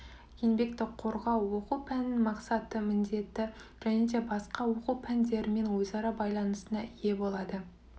еңбекті қорғау оқу пәнінің мақсаты міндеті және де басқа оқу пәндерімен өзара байланысына ие болады